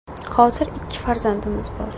Hozir ikki farzandimiz bor.